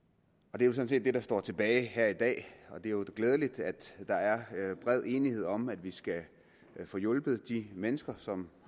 og det er sådan set det der står tilbage her i dag det er jo glædeligt at der er bred enighed om at vi skal få hjulpet de mennesker som